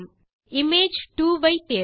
image 2 ஐ தேர்க